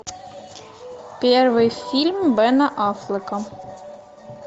первый фильм бена аффлека